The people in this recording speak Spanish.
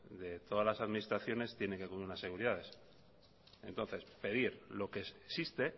de todas las administraciones tienen que cubrir unas seguridades entonces pedir lo que existe